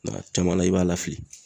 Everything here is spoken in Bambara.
Nka a caman na, i b'a lafili.